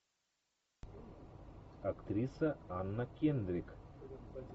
актриса анна кендрик